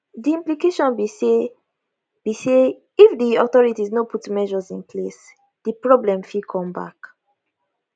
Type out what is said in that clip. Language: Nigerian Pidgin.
di implication be say be say if di authorities no put measures in place di problem fit come back